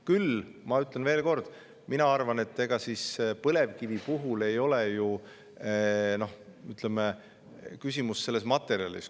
Küll, ma ütlen veel kord, mina arvan, et põlevkivi puhul ei ole küsimus ju selles materjalis.